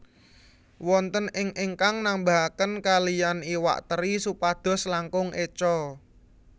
Wonten ing ingkang nambahaken kalihan iwak teri supados langkung écho